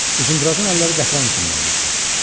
Uzundrazın əlləri qətran içində idi.